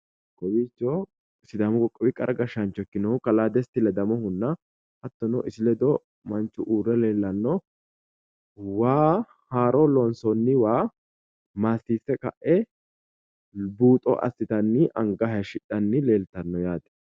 Kawiicho sidaamu qoqqowi qara gashshaancho ikkinohu kalaa desti ledamohunna hattono isi ledo manchu uurre leellanno waa haaro loonsoonniwa maassiisse ka'e buuxo assitanni anga haayiishshidhanni leeltanno yaate